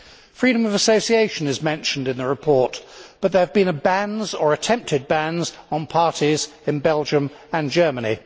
Freedom of association is mentioned in the report, but there have been bans or attempted bans on parties in Belgium and Germany.